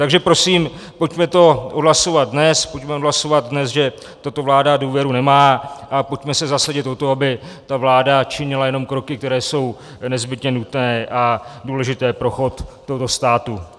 Takže prosím, pojďme to odhlasovat dnes, pojďme odhlasovat dnes, že tato vláda důvěru nemá, a pojďme se zasadit o to, aby ta vláda činila jenom kroky, které jsou nezbytně nutné a důležité pro chod tohoto státu.